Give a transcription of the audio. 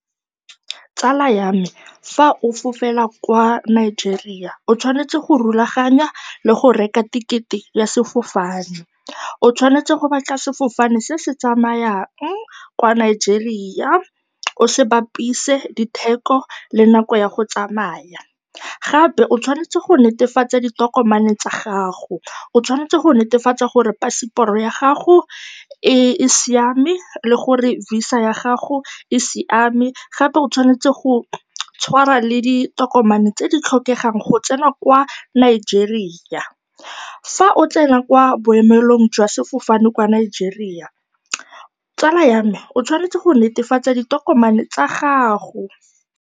Tsala ya me fa o fofela kwa Nigeria o tshwanetse go rulaganya le go reka thekete ya sefofane, o tshwanetse go batla sefofane se se tsamayang kwa Nigeria, o se bapise le ditheko le nako ya go tsamaya. Gape o tshwanetse go netefatsa ditokomane tsa gago, o tshwanetse go netefatsa gore passport-o ya gago e siame le gore visa ya gago e siame, gape o tshwanetse go tshwara le ditokomane tse di tlhokegang go tsena kwa Nigeria. Fa o tsena kwa boemelong jwa sefofane kwa Nigeria, tsala ya me o tshwanetse go netefatsa ditokomane tsa gago.